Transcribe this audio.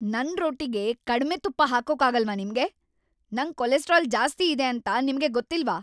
ನನ್ ರೊಟ್ಟಿಗೆ ಕಡ್ಮೆ ತುಪ್ಪ ಹಾಕೋಕಾಗಲ್ವಾ ನಿಮ್ಗೆ? ನಂಗ್ ಕೊಲೆಸ್ಟ್ರಾಲ್‌ ಜಾಸ್ತಿ ಇದೆ ಅಂತ ನಿಮ್ಗೆ ಗೊತ್ತಿಲ್ವ?